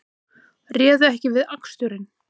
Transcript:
Réðu ekki við aksturinn